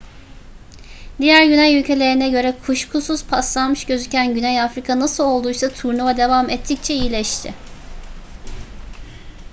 diğer güney ülkelerine göre kuşkusuz paslanmış gözüken güney afrika nasıl olduysa turnuva devam ettikçe iyileşti